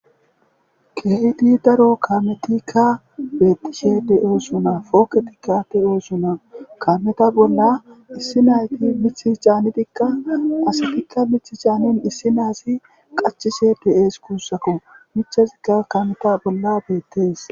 keydi daro kametikka beettishe de7o suna fooketikka deyoo suna kameta bolla issinayti mithichaanitikka asatikka mith chaanin issi naasi qachise be7ees kuussako michasikka kameta bolla beettees